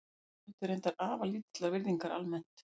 Konur nutu reyndar afar lítillar virðingar almennt.